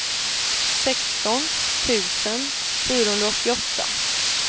sexton tusen fyrahundraåttioåtta